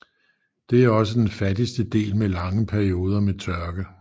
Det er også den fattigste del med lange perioder med tørke